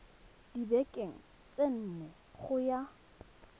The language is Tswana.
dibekeng tse nne go ya